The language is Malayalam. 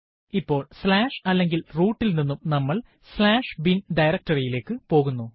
ഇപ്പോൾ അല്ലെങ്കിൽ root ൽ നിന്നും നമ്മൾ bin ഡയറക്ടറി യിലേക്ക് പോകുന്നു